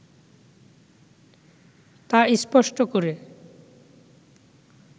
তা স্পষ্ট করে